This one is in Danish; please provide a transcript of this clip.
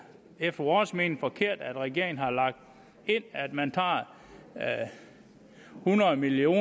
efter vores mening helt forkert at regeringen har lagt ind at man tager hundrede million